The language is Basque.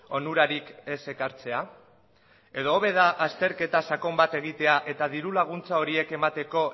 onurarik ez ekartzea edo hobe da azterketa sakon bat egitea eta dirulaguntza horiek emateko